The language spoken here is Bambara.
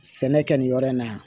Sɛnɛ kɛ nin yɔrɔ in na yan